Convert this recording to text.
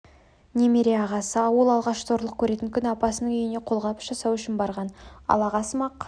немере ағасы ол алғаш зорлық көретін күні апасының үйіне қолғабыс жасау үшін барған ал ағасымақ